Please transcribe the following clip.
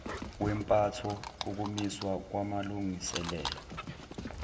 kwempatho ukumiswa kwamalungiselelo